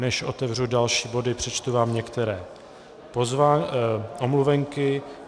Než otevřu další body, přečtu vám některé omluvenky.